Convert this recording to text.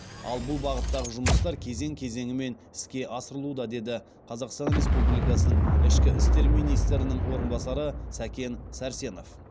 ал бұл бағыттағы жұмыстар кезең кезеңімен іске асырылуда деді қазақстан республикасының ішкі істер министрінің орынбасары сәкен сәрсенов